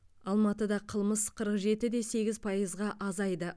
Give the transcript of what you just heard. алматыда қылмыс қырық жетіде сегіз пайызға азайды